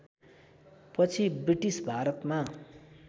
पछि ब्रिटिस भारतमा